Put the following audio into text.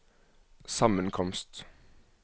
sammenkomst